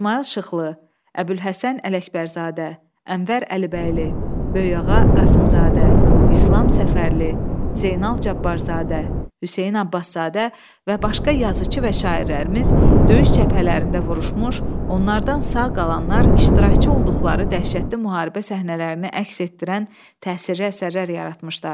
İsmayıl Şıxlı, Əbülhəsən Ələkbərzadə, Ənvər Əlibəyli, Böyükağa Qasımzadə, İslam Səfərli, Zeynəl Cabbarzadə, Hüseyn Abbaszadə və başqa yazıçı və şairlərimiz döyüş cəbhələrində vuruşmuş, onlardan sağ qalanlar iştirakçı olduqları dəhşətli müharibə səhnələrini əks etdirən təsirli əsərlər yaratmışdılar.